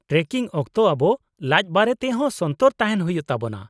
Trekking ᱚᱠᱛᱚ ᱟᱵᱚ ᱞᱟᱡᱽ ᱵᱟᱨᱮᱛᱮ ᱦᱚᱸ ᱥᱚᱱᱛᱚᱨ ᱛᱟᱦᱮᱱ ᱦᱩᱭᱩᱜ ᱛᱟᱵᱚᱱᱟ ᱾